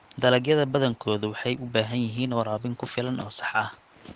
Dalagyada badankoodu waxay u baahan yihiin waraabin ku filan oo sax ah.